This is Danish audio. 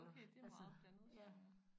Okay det meget blandet så ja